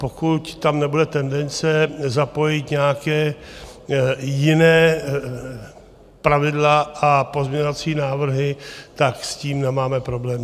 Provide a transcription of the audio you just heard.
Pokud tam nebude tendence zapojit nějaká jiná pravidla a pozměňovací návrhy, tak s tím nemáme problém.